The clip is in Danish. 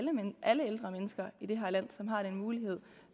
alle ældre mennesker i det her land som har den mulighed